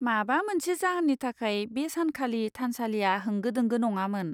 माबा मोनसे जाहोननि थाखाय बे सानखालि थानसालिया होंगो दोंगो नङामोन।